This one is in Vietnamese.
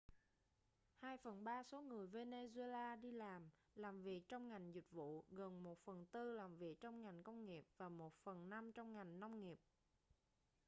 hai phần ba số người venezuela đi làm làm việc trong ngành dịch vụ gần một phần tư làm việc trong ngành công nghiệp và một phần năm trong ngành nông nghiệp